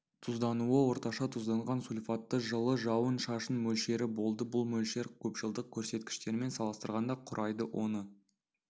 тұздануы орташа тұзданған сульфатты жылы жауын-шашын мөлшері болды бұл мөлшер көпжылдық көрсеткіштермен салыстырғанда құрайды оны